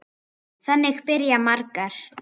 Þannig byrja margar.